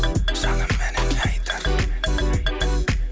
жаным менің не айтарын